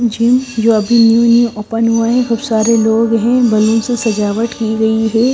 Gym जो अभी new new open हुआ है खूब सारे लोग हैं बलून से सजावट की गई है।